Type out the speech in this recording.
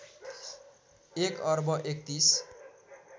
१ अर्ब ३१